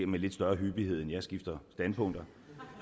med lidt større hyppighed end jeg skifter standpunkt